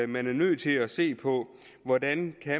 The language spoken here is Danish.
man er nødt til at se på hvordan